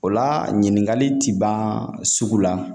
O la ɲininkali ti ban sugu la